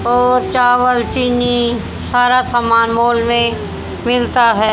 और चावल चीनी सारा सामान मॉल में मिलता है।